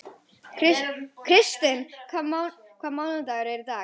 Kristinn, hvaða mánaðardagur er í dag?